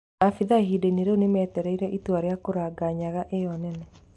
Maabitha ihindainĩ rĩu, nĩmateteire itua rĩa kũraga nyaga ĩyo nene